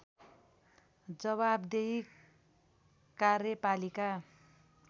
जवाफदेही कार्यपालिका